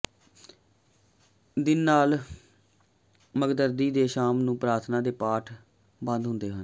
ਦਿਨ ਅਲ ਮਘਰਦੀ ਦੀ ਸ਼ਾਮ ਨੂੰ ਪ੍ਰਾਰਥਨਾ ਦੇ ਪਾਠ ਤੇ ਬੰਦ ਹੁੰਦਾ ਹੈ